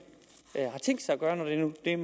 har tænkt sig at gøre når det nu er